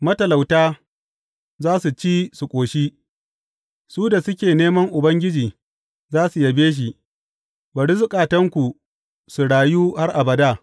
Matalauta za su ci su ƙoshi; su da suke neman Ubangiji za su yabe shi, bari zukatanku su rayu har abada!